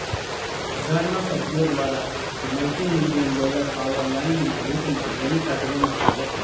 હાજારના સભ્યો દ્વારા multimillion dollar power લાઈનના રૂટમાં રેલી કાઢવામાં આવી હતી